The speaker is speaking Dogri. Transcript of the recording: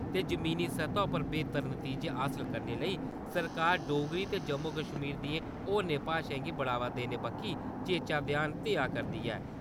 ते जमीनी सतह पर बेहतर नतीजे हासल करने लेई सरकार डोगरी ते जम्मू कश्मीर दियें होरने भाशाएं गी बढ़ावा देने बक्खी चेचा ध्यान देआ करदी ऐ।